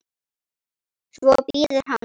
Svo bíður hann.